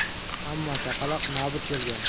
Ammo chaqaloq nobud bo‘lgan.